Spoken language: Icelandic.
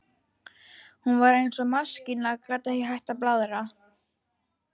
Hún var eins og maskína, gat ekki hætt að blaðra.